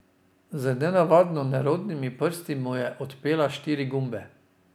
Z nenavadno nerodnimi prsti mu je odpela štiri gumbe.